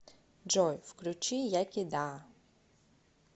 джой включи яки да